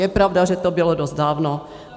Je pravda, že to bylo dost dávno.